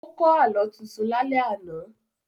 Ó kọ́ Àlọ́ tuntun lálẹ́ àná